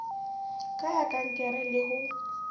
ka ya kankere le ho